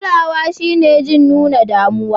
Kulawa shine jin nuna damuwa.